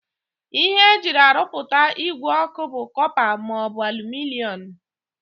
Ihe e ji arụpụta ìgwè ọkụ bụ kọpa maọbụ alụminịọm